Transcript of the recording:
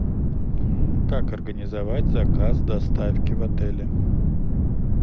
как организовать заказ доставки в отеле